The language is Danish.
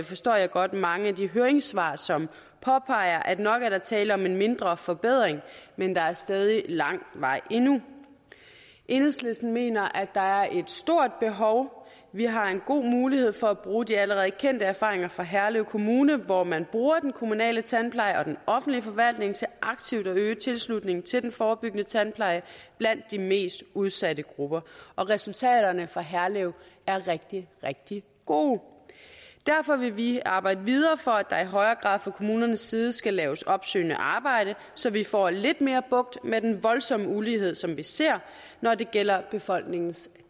forstår jeg godt mange af de høringssvar som påpeger at nok er der tale om en mindre forbedring men der er stadig lang vej endnu enhedslisten mener at der er et stort behov vi har en god mulighed for at bruge de allerede kendte erfaringer fra herlev kommune hvor man bruger den kommunale tandpleje og den offentlige forvaltning til aktivt at øge tilslutningen til den forebyggende tandpleje blandt de mest udsatte grupper og resultaterne fra herlev er rigtig rigtig gode derfor vil vi arbejde videre for at der i højere grad fra kommunernes side skal laves opsøgende arbejde så vi får lidt mere bugt med den voldsomme ulighed som vi ser når det gælder befolkningens